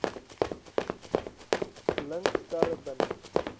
blink sterre binne